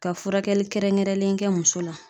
Ka furakɛli kɛrɛnkɛrɛnlen kɛ muso la